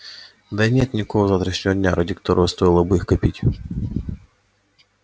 да и нет никакого завтрашнего дня ради которого стоило бы их копить